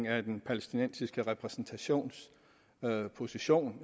af den palæstinensiske repræsentations position